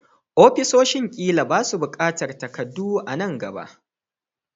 Ofisoshin ƙila ba su buƙatar takardu a nan gaba.